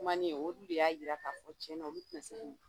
Kumanin ,olu de y'a yira k'a fɔ tiɲɛna olu tɛna se k'u